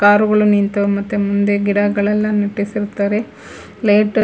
car ಗಳು ನಿಂತವ ಮತ್ತೆ ಮುಂದೆ ಗಿಡಗಳನ್ನ ನೆಟ್ಟಿಸಿರುತ್ತಾರೆ ಪ್ಲೇಟ್ --